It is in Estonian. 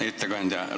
Hea ettekandja!